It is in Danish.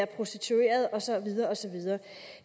prostitueret og så videre og så videre